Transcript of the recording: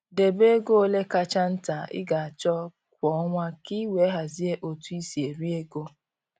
Debe ego ole kacha nta ị ga-achọ kwa ọnwa ka i wee hazie otu i si eri ego